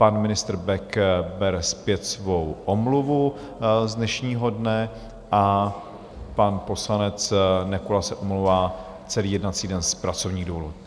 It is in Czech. Pan ministr Bek bere zpět svou omluvu z dnešního dne a pan poslanec Nekula se omlouvá celý jednací den z pracovních důvodů.